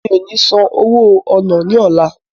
Mi ò ní san owó ọ̀nà ní ọlá.